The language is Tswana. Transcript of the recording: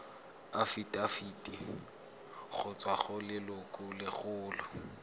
afitafiti go tswa go lelokolegolo